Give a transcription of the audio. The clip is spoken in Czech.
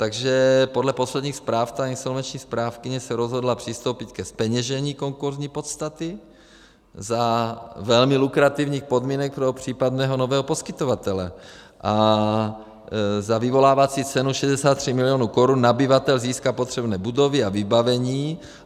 Takže podle posledních zpráv ta insolvenční správkyně se rozhodla přistoupit ke zpeněžení konkurzní podstaty za velmi lukrativních podmínek pro případného nového poskytovatele a za vyvolávací cenu 63 milionů korun nabyvatel získá potřebné budovy a vybavení.